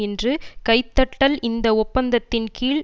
இன்று கைதட்டல் இந்த ஒப்பந்தத்தின் கீழ்